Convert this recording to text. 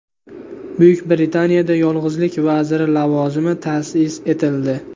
Buyuk Britaniyada yolg‘izlik vaziri lavozimi ta’sis etildi.